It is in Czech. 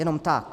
Jenom tak.